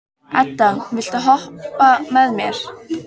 Edda, viltu hoppa með mér?